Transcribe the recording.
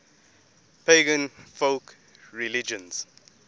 pagan folk religions